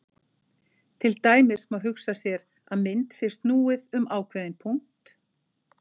Til dæmis má hugsa sér að mynd sé snúið um ákveðinn punkt.